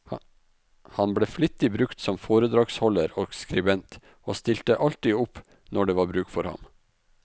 Han ble flittig brukt som foredragsholder og skribent, og stilte alltid opp når det var bruk for ham.